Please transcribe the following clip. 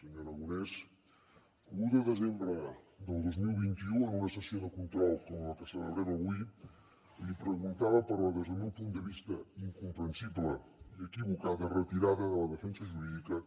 senyor aragonès l’un de desembre del dos mil vint u en una sessió de control com la que celebrem avui li preguntava per la des del meu punt de vista incomprensible i equivocada retirada de la defensa jurídica